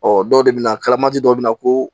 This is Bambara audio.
Ɔ dɔw de bɛ na kalama dɔw bɛ na ko